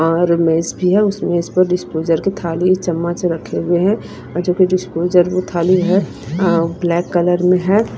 और मेज भी है उसमें इसको डिस्पोजल की थाली चम्मच रखे हुए हैं जो की डिस्पोजल में थाली है ब्लैक कलर में है।